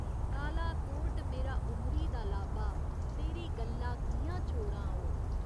काला कोट मेरा उमरी दा लाबा तेरी गल्ला कि'यां छोड़ां ओ।